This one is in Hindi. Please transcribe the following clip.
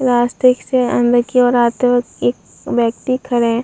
लास्ट गेट से अंदर की ओर आते वक्त एक व्यक्ति खड़े है।